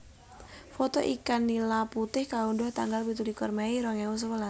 Foto ikan nila putih kaundhuh tanggal pitulikur mei rong ewu sewelas